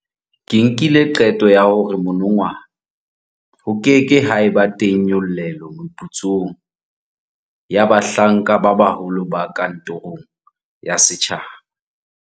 Ke nkile qeto ya hore monongwaha ho ke ke ha eba teng nyollelo meputsong ya bahlanka ba baholo ba kantorong ya setjhaba.